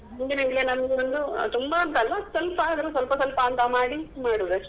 ನಂಗೊಂದು ತುಂಬ ಅಂತ ಅಲ್ಲ ಸ್ವಲ್ಪ ಆದ್ರೂ ಸ್ವಲ್ಪ ಸ್ವಲ್ಪ ಅಂತ ಮಾಡಿ ಬಿಡುದು ಅಷ್ಟೆ.